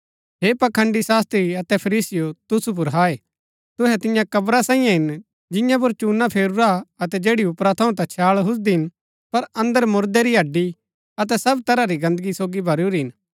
हे पखंड़ी शास्त्री अतै फरीसीयों तुसु पुर हाय तुहै तियां कव्रा साईयें हिन जियां पुर चूना फेरूरा अतै जैड़ी ऊपरा थऊँ ता छैळ हुजदी हिन पर अन्दर मुरदै री हड्डी अतै सब तरह री गन्दगी सोगी भरूरी हिन